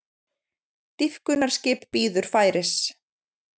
Dýpkunarskip bíður færis